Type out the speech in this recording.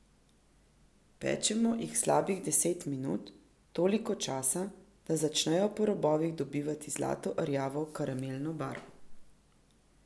Pečemo jih slabih deset minut, toliko časa, da začnejo po robovih dobivati zlato rjavo karamelno barvo.